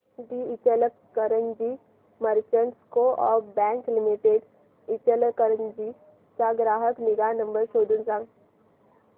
दि Ichalkaranji merchants co-op bank limited Ichalkaranji चा ग्राहक निगा नंबर शोधून सांग